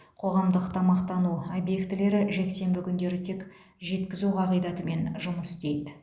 қоғамдық тамақтану объектілері жексенбі күндері тек жеткізу қағидатымен жұмыс істейді